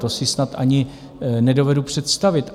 To si snad ani nedovedu představit.